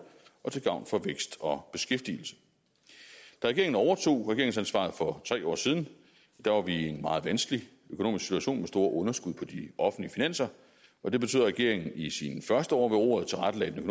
og til gavn for vækst og beskæftigelse da regeringen overtog regeringsansvaret for tre år siden var vi i en meget vanskelig økonomisk situation med store underskud på de offentlige finanser og det betød at regeringen i sine første år ved roret tilrettelagde den